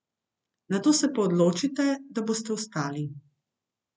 Nato se pa odločite, da boste vstali.